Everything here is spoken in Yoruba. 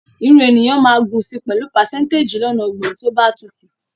Irun ènìyàn máa gùn si pẹ̀lú pàsẹ́ńtéjì lọ́nà ọgbọ̀n tí ó bá tutù